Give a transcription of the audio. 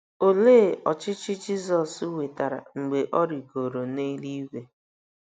Olee ọchịchị Jesu nwetara mgbe o rịgoro n’eluigwe?